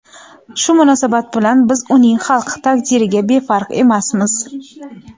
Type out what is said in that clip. Shu munosabat bilan biz uning xalqi taqdiriga befarq emasmiz.